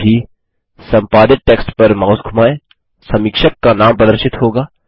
सहज ही संपादित टेक्स्ट पर माउस धुमाएँ समीक्षक का नाम प्रदर्शित होगा